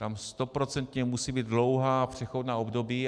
Tam stoprocentně musí být dlouhá přechodná období.